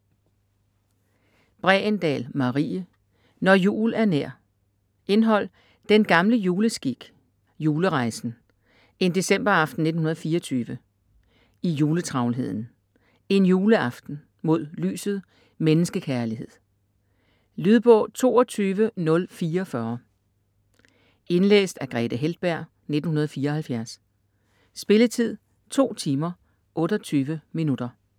Bregendahl, Marie: Når jul er nær Indhold: Den gamle juleskik; Julerejsen; En decemberaften 1924; I juletravlheden; En juleaften; Mod lyset; Menneskekærlighed. Lydbog 22044 Indlæst af Grethe Heltberg, 1974. Spilletid: 2 timer, 28 minutter.